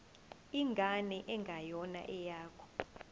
ingane engeyona eyakho